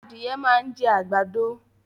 Adìẹ máa ń jẹ́ àgbàdo